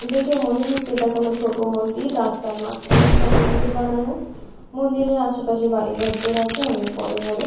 দেখে মনে হচ্ছে এটা কোনও ছোট মন্দির রাস্তার মাঝখানে একটা মন্দির বানানো মন্দিরের আশেপাশে অনেক বাড়িঘর দর আছে অনেক বড় বড় ।